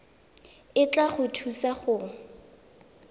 e tla go thusa go